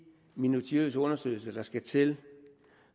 minutiøse undersøgelser der skal til